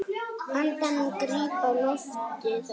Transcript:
Andann gríp á lofti þá.